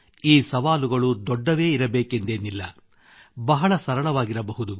ಈ ಪ್ರಶ್ನೆಗಳು ದೊಡ್ಡವೇ ಇರಬೇಕೆಂದೇನಿಲ್ಲ ಬಹಳ ಸರಳವಾಗಿರಬಹುದು